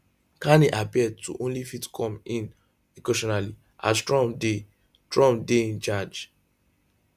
carney appear to only fit come in occasionally as trump dey trump dey in charge